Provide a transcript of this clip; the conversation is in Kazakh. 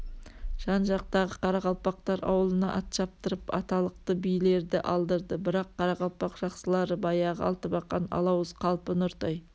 жан-жақтағы карақалпақтар ауылына ат шаптырып аталықты билерді алдырды бірақ қарақалпақ жақсылары баяғы алтыбақан алауыз қалпы нұртай